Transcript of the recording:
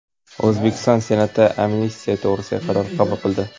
O‘zbekiston Senati amnistiya to‘g‘risida qaror qabul qildi.